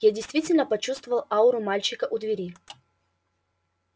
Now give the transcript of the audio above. я действительно почувствовал ауру мальчика у двери